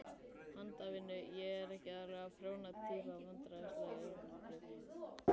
Handavinnu, ég er ekki alveg þessi prjóna týpa Vandræðalegasta augnablik?